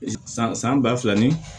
San san ba fila ni